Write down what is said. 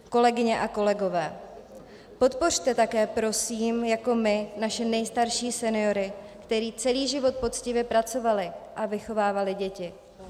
Kolegyně a kolegové, podpořte také prosím jako my naše nejstarší seniory, kteří celý život poctivě pracovali a vychovávali děti.